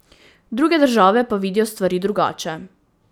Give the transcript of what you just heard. Druge države pa vidijo stvari drugače.